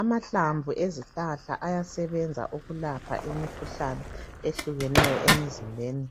Amahlamvu ezihlahla ayasebenza ukulapha imikhuhlane eyehlukeneyo emizimbeni